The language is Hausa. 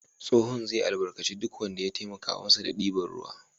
Tsohon zai albarkaci duk wanda ya taimaka masa da ɗiban ruwa.